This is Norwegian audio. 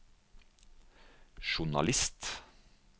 journalist